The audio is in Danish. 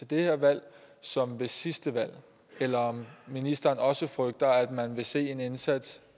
det her valg som ved sidste valg eller om ministeren også frygter at man vil se en indsats